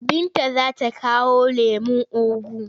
Binta za ta kawo lemon ugu.